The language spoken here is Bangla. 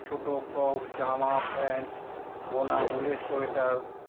ছোট frock জামা pant , বোনা উলের sweater